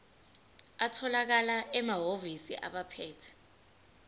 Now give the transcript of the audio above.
atholakala emahhovisi abaphethe